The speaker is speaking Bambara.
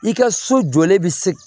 I ka so jɔlen bi se